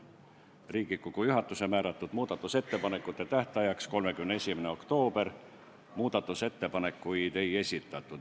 Riigikogu juhatuse määratud muudatusettepanekute esitamise tähtaeg oli 31. oktoober, muudatusettepanekuid ei esitatud.